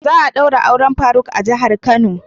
Za'a daura auren faruk a jihar kano.